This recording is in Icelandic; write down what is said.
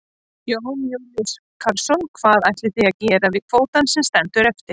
Jón Júlíus Karlsson: Hvað ætlið þið að gera við kvótann sem að stendur eftir?